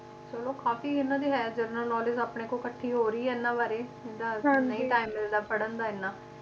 ਚਲੋ ਕਾਫੀ ਇਹਨਾਂ ਦੀ ਹੈ general knowledge ਆਪਣੇ ਕੋਲ ਇਕੱਠੀ ਹੋ ਰਹੀ ਏ ਇਹਨਾਂ ਬਾਰੇ ਨਹੀਂ time ਪੜ੍ਹਨ ਦਾ ਇੰਨਾ।